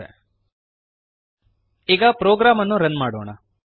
ಕ್ಯಾನ್ವಾಸಿನ ಮೇಲೆ ಟರ್ಟಲ್ ಕಾಣದ ಹಾಗೆ ಮಾಡುತ್ತದೆ ಈಗ ಪ್ರೋಗ್ರಾಮ್ ಅನ್ನು ರನ್ ಮಾಡೋಣ